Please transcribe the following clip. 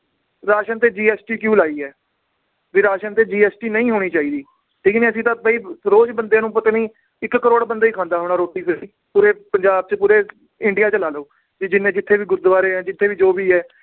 ration ਤੇ GST ਕਿਉਂ ਲਾਈ ਏ ਵੀ ਰਾਸ਼ਨ ਤੇ GST ਨਈ ਹੋਣੀ ਚਾਹੀਦੀ ਠੀਕ ਨੀ ਅਸੀਂ ਤਾਂ ਵੀ ਰੋਜ ਬੰਦਿਆਂ ਨੂੰ ਪਤਾ ਨੀ ਇੱਕ ਕਰੋੜ ਬੰਦਾ ਈ ਖਾਂਦਾ ਹੋਣਾ ਰੋਟੀ ਪੂਰੇ ਪੰਜਾਬ ਚ ਪੂਰੇ ਇੰਡੀਆ ਚ ਲਾ ਲਓ ਵੀ ਜਿੰਨੇ ਜਿੱਥੇ ਵੀ ਗੁਰਦਵਾਰੇ ਏ ਜਿਥੇ ਵੀ ਜੋ ਵੀ ਏ